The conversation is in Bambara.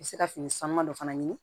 U bɛ se ka fini sanuma dɔ fana ɲini